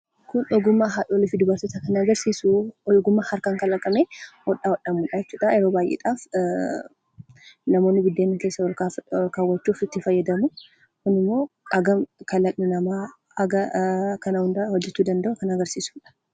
Kun ogummaa haadholii fi dubartootaa kan agarsiisu ogummaa harkaan kalaqamee hodhaa hodhamuudha jechuudha. Yeroo baay'ee namoonni buddeena keessa ol kaawwachuuf itti fayyadamu. Kunimmoo hagam kalaqni namaa hagam kana hundaa hojjachuu akka danda'u kan agarsiisudha.